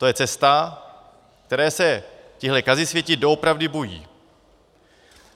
To je cesta, které se tihle kazisvěti doopravdy bojí.